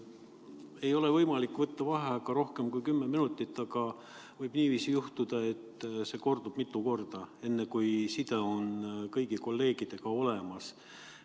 Ei ole võimalik võtta vaheaega rohkem kui kümme minutit, aga võib niiviisi juhtuda, et see kordub mitu korda enne, kui side on kõigi kolleegidega olemas.